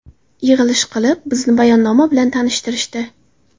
Yig‘ilish qilib, bizni bayonnoma bilan tanishtirishdi.